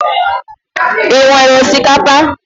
Ị nwere osikapa?